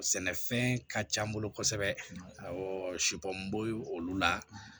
Sɛnɛfɛn ka ca n bolo kosɛbɛ awɔ olu la